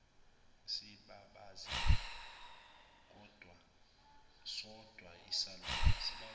sibabaze sodwa isalukazi